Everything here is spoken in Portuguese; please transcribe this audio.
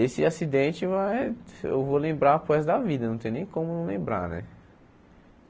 Esse acidente vai eu vou lembrar para o resto da vida, não tem nem como não lembrar né.